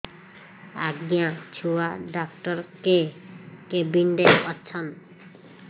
ଆଜ୍ଞା ଛୁଆ ଡାକ୍ତର କେ କେବିନ୍ ରେ ଅଛନ୍